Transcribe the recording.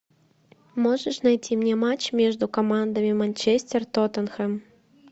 можешь найти мне матч между командами манчестер тоттенхэм